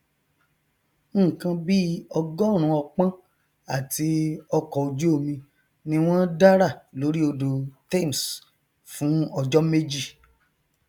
nnkan bí ọgọrùnún ọpọn àti ọkọojúomi ni wọn dárà lórí odò thames fún ọjọ méjì